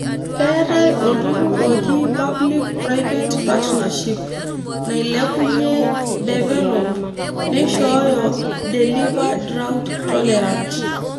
Keetae olturrurr oji Public-Private Partnership (nailepunyi) Develop (neishooyo) Deliver Drought Tolerant.